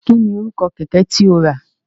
Kí ni orúkọ kẹ̀kẹ́ tí o rà?